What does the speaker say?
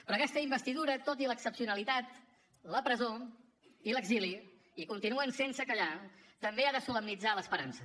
però aquesta investidura tot i l’excepcionalitat la presó i l’exili i continuen sense callar també ha de solemnitzar l’esperança